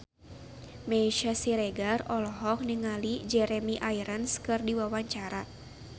Meisya Siregar olohok ningali Jeremy Irons keur diwawancara